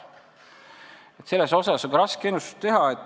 Nii et selles osas on raske ennustusi teha.